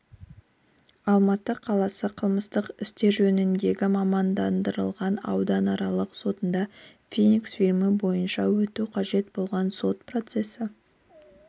алматы қаласы қылмыстық істер жөніндегі мамандандырылған ауданаралық сотында феникс фильмі бойынша өтуі қажет болған сот процесі